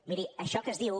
miri això que es diu